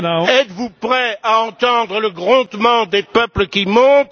Êtes vous prêt à entendre le grondement des peuples qui monte?